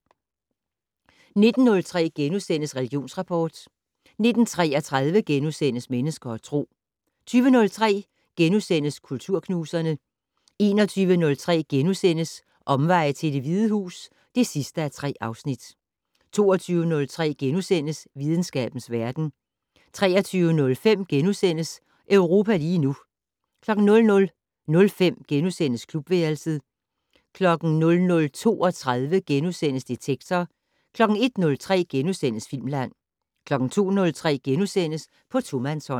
19:03: Religionsrapport * 19:33: Mennesker og Tro * 20:03: Kulturknuserne * 21:03: Omveje til Det Hvide Hus (3:3)* 22:03: Videnskabens verden * 23:05: Europa lige nu * 00:05: Klubværelset * 00:32: Detektor * 01:03: Filmland * 02:03: På tomandshånd *